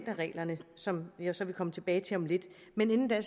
med reglerne som jeg så vil komme tilbage til om lidt men inden da